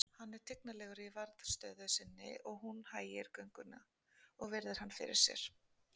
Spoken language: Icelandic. Hann er tignarlegur í varðstöðu sinni og hún hægir gönguna og virðir hann fyrir sér.